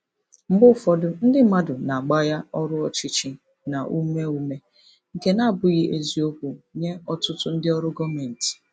Mgbe ụfọdụ, ndị mmadụ na-agbagha ọrụ ọchịchị na ume ume, nke na-abụghị eziokwu nye ọtụtụ ndị ọrụ gọọmentị.